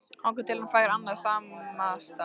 Þangað til hann fær annan samastað